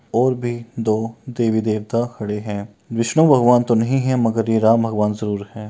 और भी दो देवी देवता खड़े हैं। विष्णु भगवान तो नहीं हैं मगर ये राम भगवान जरूर हैं।